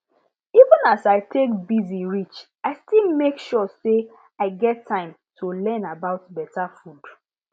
even as i take busy reach i still dey make sure say i get time to learn about better food